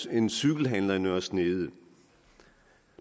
en cykelhandler i nørre snede